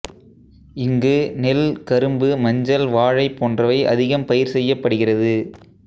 இங்கு நெல் கரும்பு மஞ்சள் வாழை போன்றவை அதிகம் பயிர் செய்யப்படுகிறது